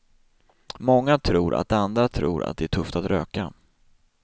Många tror att andra tror att det är tufft att röka.